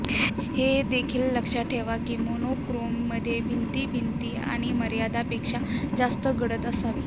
हे देखील लक्षात ठेवा की मोनोक्रोम मध्ये भिंती भिंती आणि मर्यादा पेक्षा जास्त गडद असावी